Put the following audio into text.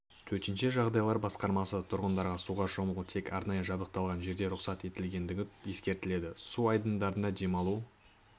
төтенше жағдайлар басқармасы тұрғындарға суға шомылу тек арнайы жабдықталған жерде рұқсат етілгендігін ескертеді су айдындарда демалу